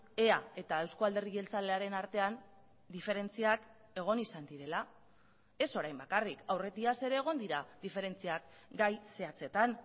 ea eta eusko alderdi jeltzalearen artean diferentziak egon izan direla ez orain bakarrik aurretiaz ere egon dira diferentziak gai zehatzetan